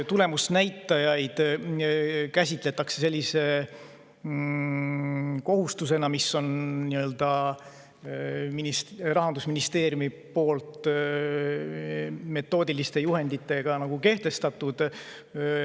Tulemusnäitajaid käsitletakse sellise kohustusena, mis on Rahandusministeeriumi metoodiliste juhenditega kehtestatud.